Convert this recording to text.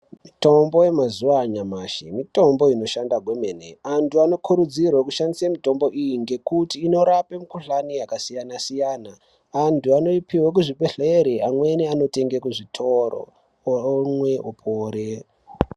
Mitombo yemazuva anyamashi mitombo inoshanda kwemene antu anokurudzirwe kushandise mitombo iyi ngekuti inorape mikuhlani yakasiyana-siyana. Antu anoipihwe kuzvibhedhleri amweni anotenge kuzvitoro, omwe opore.